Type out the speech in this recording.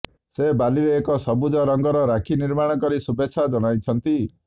ସେ ବାଲିରେ ଏକ ସବୁଜ ରଙ୍ଗର ରାକ୍ଷୀ ନିର୍ମାଣ କରି ଶୁଭେଚ୍ଛା ଜଣାଇଛନ୍ତି